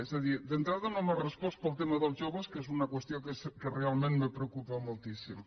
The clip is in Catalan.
és a dir d’entrada no m’ha respost pel tema dels joves que és una qüestió que realment me preocupa moltíssim